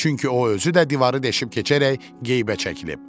Çünki o özü də divarı deşib keçərək qeybə çəkilib.